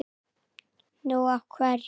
Nú. af hverju?